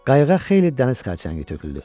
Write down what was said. Qayıq xeyli dəniz xərçəngi tökdü.